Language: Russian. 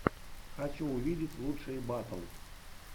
хочу увидеть лучшие батл